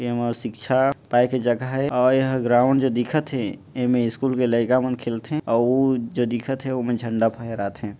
ये हमर शिक्षा पाए के जगह ये और यह ग्राउंड जो दिखत हे एमे स्कूल के लइका मन खेलथे अउ वो जो दिखत हे ओमा झंडा फहराथे--